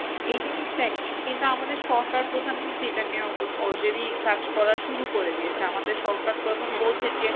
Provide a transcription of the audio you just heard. এই জিনিসটাই কিন্তু আমাদের সরকার প্রধান কিন্তু এটা নিয়ে already কাজ করা শুরু করে দিয়েছে আমাদের সরকার প্রধান বলছেন যে